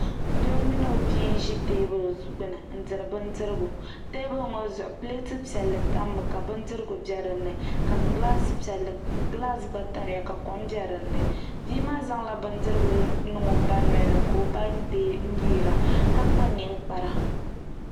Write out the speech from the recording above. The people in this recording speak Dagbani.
Doo mini o bia n ʒi teebuli gbuni n diri bindirigu teebuli ŋo zuɣu pileet piɛlli tammi ka bindirigu bɛ dinni ka gilaas gba tamya ka kom biɛ dinni bia maa zaŋla bindirigu n niŋ o ba nolini ka o ba dee n nyiira ka kpa ninkpara